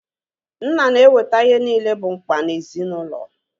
Nna na-eweta ihe niile bụ mkpa ezinaụlọ